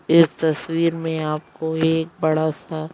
इस तस्वीर में आपको एक बड़ा सा --